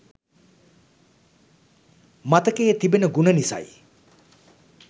මතකයේ තිබෙන ගුණ නිසයි